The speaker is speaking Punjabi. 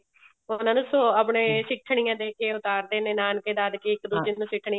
ਉਹਨਾਂ ਨੂੰ ਆਪਣੀਆਂ ਸਿੱਠਣੀਆਂ ਦੇਕੇ ਉਤਾਰਦੇ ਨੇ ਨਾਨਕੇ ਦਾਦਕੇ ਇੱਕ ਦੁੱਜੇ ਨੂੰ ਸਿੱਠਣੀਆਂ